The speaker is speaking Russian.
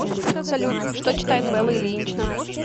салют что читает белла ильинична